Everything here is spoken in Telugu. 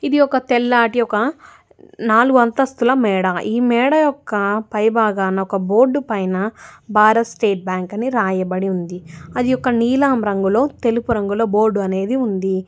ఇది ఒక తెల్లటి ఒక నాలుగు అంతస్తుల మేడ ఈ మేడ యొక్క పైబాగాన ఒక బోర్డు పైన భారత్ స్టేట్ బ్యాంక్ అని రాయబడి ఉంది అది ఒక నీలం రంగులో తెలుపు రంగులో బోర్డు అనేది ఉంది.